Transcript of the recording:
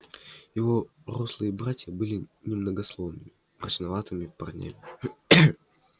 его рослые братья были немногословными мрачноватыми парнями